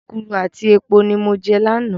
Èkuru àti epo ni mo jẹ lánàá.